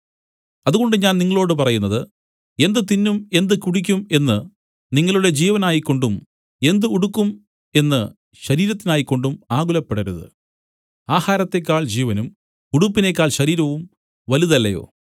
അതുകൊണ്ട് ഞാൻ നിങ്ങളോടു പറയുന്നത് എന്ത് തിന്നും എന്ത് കുടിക്കും എന്നു നിങ്ങളുടെ ജീവനായിക്കൊണ്ടും എന്ത് ഉടുക്കും എന്നു ശരീരത്തിനായിക്കൊണ്ടും ആകുലപ്പെടരുത് ആഹാരത്തേക്കാൾ ജീവനും ഉടുപ്പിനേക്കാൾ ശരീരവും വലുതല്ലയോ